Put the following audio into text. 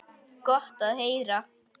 Gott að heyra.